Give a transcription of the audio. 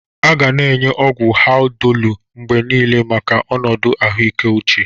A ga na enye ọgwụ Haldolu mgbe niile maka ọnọdụ ahụike uche.